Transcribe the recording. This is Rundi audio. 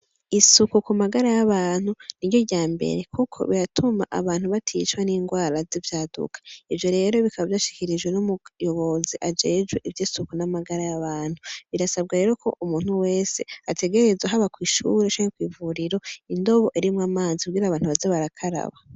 Isuku ku magara y'abantu ni ryo rya mbere, kuko biratuma abantu baticwa n'ingwara z'ivyaduka, ivyo rero bikaba vyo ashikirijwe n'umuyobozi ajejwe ivyo isuku n'amagara y'abantu, birasabwa rero ko umuntu wese ategerezwe haba kw'ishuru shanke kw'ivuriro indobo erimwo amanzu kugira abantu bazabarakaraba.